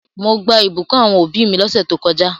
Mo gbà ìbùkún àwon òbí mi lósẹ̀ to kojá